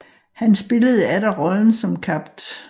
Han spillede atter roleln som Capt